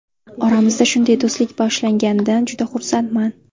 Oramizda shunday do‘stlik boshlanganidan juda xursandman”.